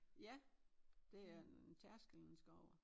Ja det er en tærskel man skal over